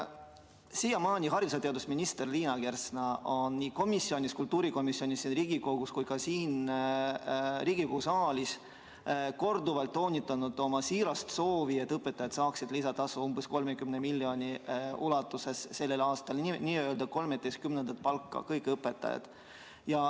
Siiamaani on haridus- ja teadusminister Liina Kersna nii kultuurikomisjonis kui ka siin Riigikogu saalis korduvalt toonitanud oma siirast soovi, et kõik õpetajad saaksid lisatasu umbes 30 miljoni ulatuses sellel aastal, n-ö 13. palga.